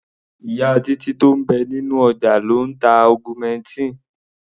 Ìyá Títí tó ń bẹ nínú ọjà ló ń ta augmentin.